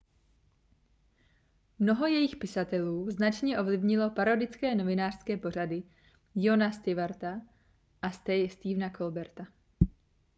mnoho jejich pisatelů značně ovlivnilo parodické novinářské pořady jona stewarta a stephena colberta